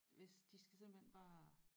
Hvis de skal simpelthen bare